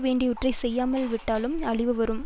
வேண்டியவற்றை செய்யாமல் விட்டாலும் அழிவு வரும்